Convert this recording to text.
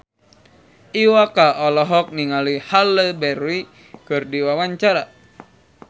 Iwa K olohok ningali Halle Berry keur diwawancara